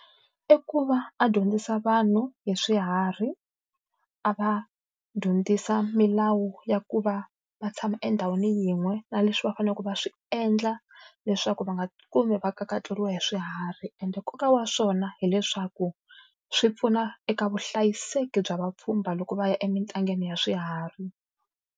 I ku va a dyondzisa vanhu hi swiharhi, a va dyondzisa milawu ya ku va va tshama endhawini yin'we na leswi va faneleke va swi endla leswaku va nga kumi va kakatleriwa hi swiharhi. Ende nkoka wa swona hileswaku swi pfuna eka vuhlayiseki bya vapfhumba loko va ya emintangeni ya swiharhi.